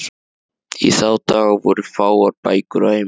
Í þá daga voru fáar bækur á heimilum.